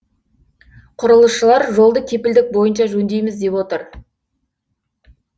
құрылысшылар жолды кепілдік бойынша жөндейміз деп отыр